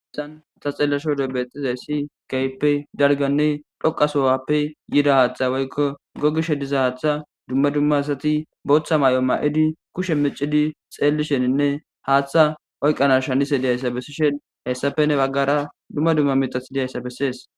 aessan ta xelashodo bexxizay si kayppe darganne dhoqasoowappe yida haaththa woykko gogishe diza haaththa dumma dumma asati booththa may7o ma7idi kushe micidi xeellisheninne haaththa oyqanas shanise diyayssa bessishen hessafe ne baggara dumma dumma mitathi diyayssa bessees